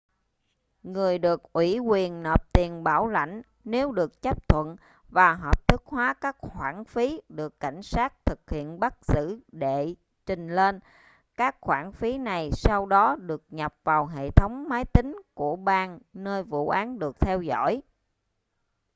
người được ủy quyền nộp tiền bảo lãnh nếu được chấp thuận và hợp thức hóa các khoản phí được cảnh sát thực hiện bắt giữ đệ trình lên các khoản phí này sau đó được nhập vào hệ thống máy tính của bang nơi vụ án được theo dõi